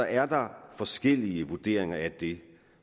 er der forskellige vurderinger af det